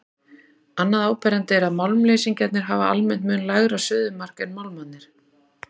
Annað áberandi er að málmleysingjarnir hafa almennt mun lægra suðumark en málmarnir.